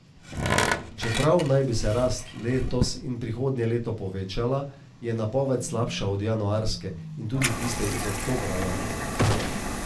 Čeprav naj bi se rast letos in prihodnje leto povečala, je napoved slabša od januarske in tudi tiste iz oktobra lani.